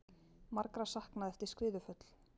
Margra saknað eftir skriðuföll